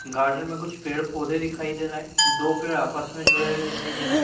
Garden में कुछ पेड़ पौधे दिखाई दे रहे हैं। दो पेड़ आपस में जुड़े हुए दिखाई दे रहे हैं।